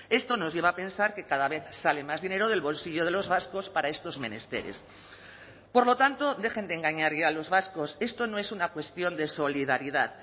esto nos lleva a pensar que cada vez sale más dinero del bolsillo de los vascos para estos menesteres por lo tanto dejen de engañar ya a los vascos esto no es una cuestión de solidaridad